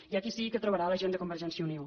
i aquí sí que trobarà la gent de convergència i unió